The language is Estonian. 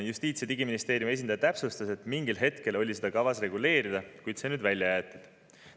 Justiits- ja Digiministeeriumi esindaja täpsustas, et mingil hetkel oli kavas seda reguleerida, kuid see on nüüd välja jäetud.